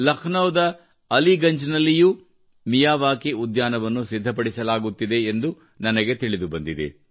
ಲಕ್ನೋದ ಅಲಿಗಂಜ್ನಲ್ಲಿಯೂ ಮಿಯಾವಾಕಿ ಉದ್ಯಾನವನ್ನು ಸಿದ್ಧಪಡಿಸಲಾಗುತ್ತಿದೆ ಎಂದು ನನಗೆ ತಿಳಿದು ಬಂದಿದೆ